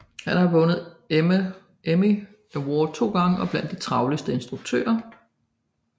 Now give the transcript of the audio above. Han har vundet Emmy Award to gange og er blandt de travleste instruktører